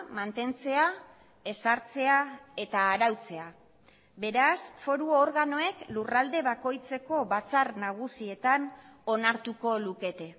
mantentzea ezartzea eta arautzea beraz foru organoek lurralde bakoitzeko batzar nagusietan onartuko lukete